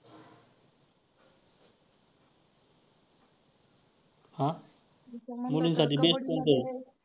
हां मुलीसांठी best कोणतं?